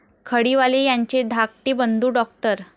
खडीवाले यांचे धाकटे बंधू डॉ.